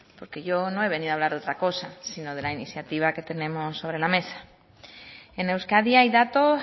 porque yo no he venido a hablar de otra cosa si no de la iniciativa que tenemos sobre la mesa en euskadi hay datos